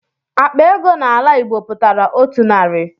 Akpa ego n'ala Igbo pụtara otu narị.